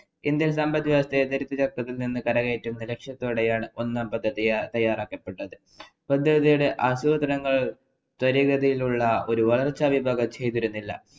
Indian‍ സമ്പദ് വ്യവസ്ഥയെ ദാരിദ്രത്വത്തില്‍ നിന്നും കരകയറ്റുക എന്ന ലക്ഷ്യത്തോടെയാണ് ഒന്നാം പദ്ധതി തയ്യാറാക്കപ്പെട്ടത്. ആസൂത്രണങ്ങള്‍ ത്വരിതഗതിയിലുള്ള ഒരു വളര്‍ച്ച ചെയ്തില്ല.